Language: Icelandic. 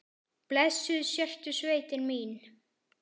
Blessuð sértu sveitin mín!